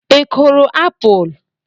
Ị kụrụ apụl?